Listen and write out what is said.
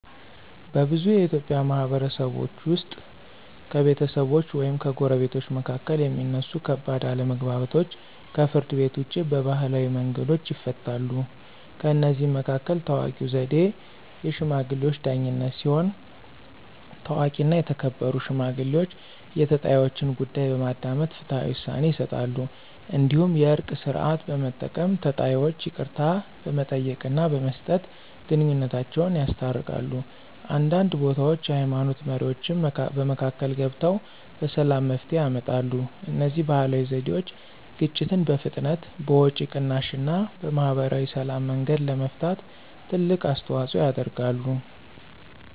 በብዙ የኢትዮጵያ ማህበረሰቦች ውስጥ ከቤተሰቦች ወይም ከጎረቤቶች መካከል የሚነሱ ከባድ አለመግባባቶች ከፍርድ ቤት ውጭ በባህላዊ መንገዶች ይፈታሉ። ከእነዚህ መካከል ታዋቂው ዘዴ “የሽማግሌዎች ዳኝነት” ሲሆን፣ ታዋቂና የተከበሩ ሽማግሌዎች የተጣይወችን ጉዳይ በማዳመጥ ፍትሃዊ ውሳኔ ይሰጣሉ። እንዲሁም “የእርቅ ሥርዓት” በመጠቀም ተጣይወች ይቅርታ በመጠየቅና በመስጠት ግንኙነታቸውን ያስታርቃሉ። አንዳንድ ቦታዎች የሃይማኖት መሪዎችም በመካከል ገብተው በሰላም መፍትሄ ያመጣሉ። እነዚህ ባህላዊ ዘዴዎች ግጭትን በፍጥነት፣ በወጪ ቅናሽ እና በማህበራዊ ሰላም መንገድ ለመፍታት ትልቅ አስተዋፅኦ ያደርጋሉ።